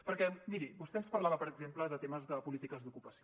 perquè miri vostè ens parlava per exemple de temes de polítiques d’ocupació